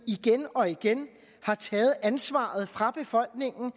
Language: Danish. igen og igen har taget ansvaret fra befolkningen